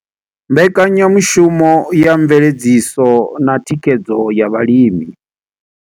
Mbekanya mushumo ya Mveledziso na Thikhedzo ya Vhalimi.